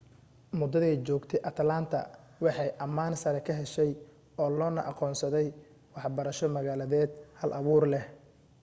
muddaday joogtay atlanta waxay ammaan sare ka heshay oo loona aqoonsaday waxbarasho magaaleed hal-abuur leh